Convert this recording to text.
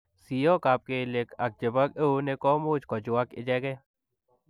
Siyok ap keliek ak chepo euneek komuuch kochuaak ichegei.